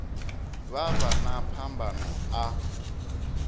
vha vha na phambano a